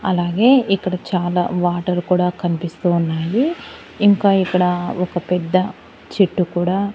అలాగే ఇక్కడ చాలా వాటర్ కూడా కనిపిస్తున్నాయి ఇంకా ఇక్కడ ఒక పెద్ద చెట్టు కూడా.